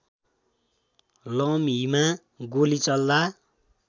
लमहीमा गोली चल्दा